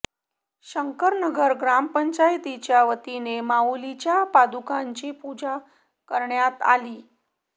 शंकरनगर ग्रामपंचायतीच्या वतीने माउलींच्या पादुकांची पूजा करण्यात आली